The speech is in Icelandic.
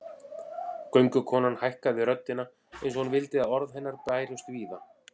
Göngukonan hækkaði röddina eins og hún vildi að orð hennar bærust víða